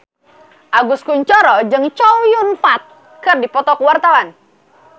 Agus Kuncoro jeung Chow Yun Fat keur dipoto ku wartawan